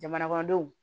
Jamana kɔnɔdenw